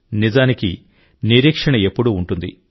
నిజానికినిరీక్షణ ఎప్పుడూ ఉంటుంది